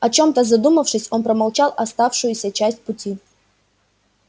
о чем-то задумавшись он промолчал оставшуюся часть пути